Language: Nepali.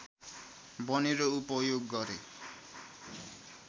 बनेर उपयोग गरे।